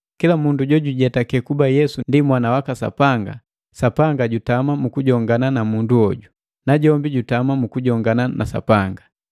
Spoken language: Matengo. Kila mundu jojujetaki kuba Yesu ndi Mwana waka Sapanga, Sapanga jutama mukujongana na mundu hoju, najombi jutama mu kujongana na Sapanga.